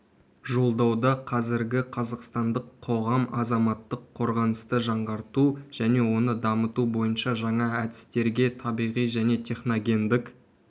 жолдауда қазіргі қазақстандық қоғам азаматтық қорғанысты жаңғырту және оны дамыту бойынша жаңа әдістерге табиғи және техногендік